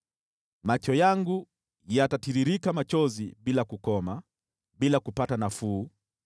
Macho yangu yatatiririka machozi bila kukoma, bila kupata nafuu,